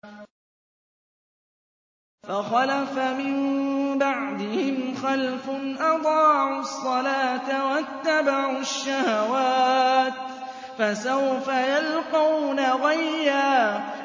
۞ فَخَلَفَ مِن بَعْدِهِمْ خَلْفٌ أَضَاعُوا الصَّلَاةَ وَاتَّبَعُوا الشَّهَوَاتِ ۖ فَسَوْفَ يَلْقَوْنَ غَيًّا